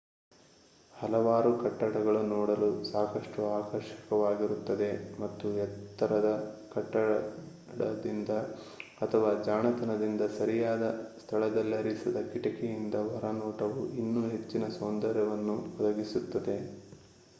ಹಲವಾರು ಕಟ್ಟಡಗಳು ನೋಡಲು ಸಾಕಷ್ಟು ಆಕರ್ಷಕವಾಗಿರುತ್ತದೆ ಮತ್ತು ಎತ್ತರದ ಕಟ್ಟಡದಿಂದ ಅಥವಾ ಜಾಣತನದಿಂದ ಸರಿಯಾದ ಸ್ಥಳದಲ್ಲಿರಿಸಿದ ಕಿಟಕಿಯಿಂದ ಹೊರನೋಟವು ಇನ್ನೂ ಹೆಚ್ಚಿನ ಸೌಂದರ್ಯವನ್ನು ಒದಗಿಸುತ್ತದೆ